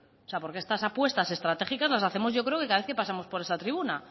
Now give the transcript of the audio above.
porque estas apuestas estratégicas las hacemos yo creo que cada vez que pasamos por esta tribuna